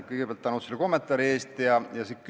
Kõigepealt suur tänu sulle kommentaari eest!